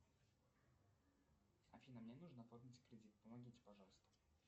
афина мне нужно оформить кредит помогите пожалуйста